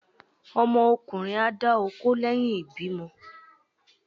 ọmọ ọkunrín a dà okó leyín ìbímo